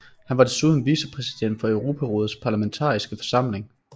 Hun var desuden vicepræsident for Europarådets Parlamentariske Forsamling